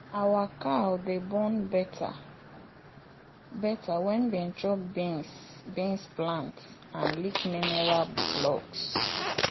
our cow dey born better better when dem chop beans plant and lick mineral blocks.